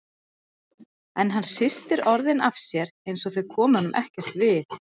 En hann hristir orðin af sér einsog þau komi honum ekkert við.